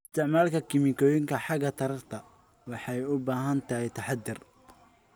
Isticmaalka kiimikooyinka xagga taranta waxay u baahan tahay taxaddar.